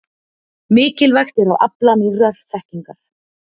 Mikilvægt er að afla nýrrar þekkingar.